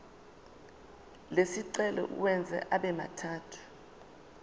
lesicelo uwenze abemathathu